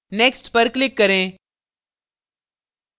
next पर click करें